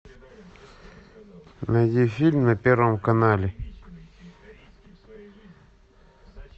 найди фильм на первом канале